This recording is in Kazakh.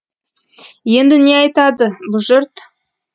енді не айтады бұ жұрт